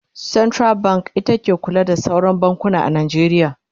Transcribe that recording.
central bank ita ke kula da sauran bankuna a Najeriya